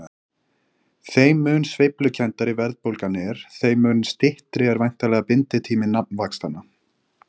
þeim mun sveiflukenndari verðbólgan er þeim mun styttri er væntanlega binditími nafnvaxtanna